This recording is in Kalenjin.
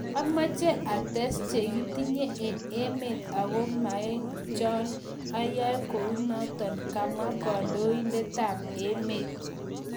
amache ates chegitinye en emet ago maekchon ayae kunoton� kamwa kandoindetap-emet